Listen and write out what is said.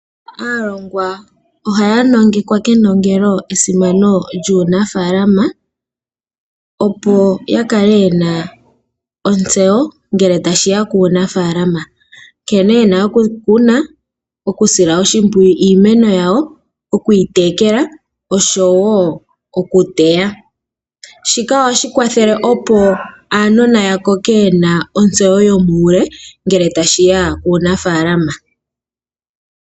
Aalongwa ohaya nongekwa kenongelo esimano lyuunafaalama opo ya kale yena otseyo ngele tashiya kuunafaalama nkene yena okukuna, okusila oshimpwiyu iimeno yawo, okuyitekela noshowo okuteya. Shika ohashi kwathele opo aanona yakoke yena otseyo yomuule ngele tashiya kuunafaalama.